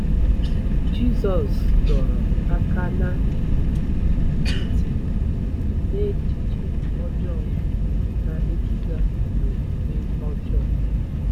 Jizọs dọrọ aka ná ntị na echiche ọjọọ na-eduga n'omume ọjọọ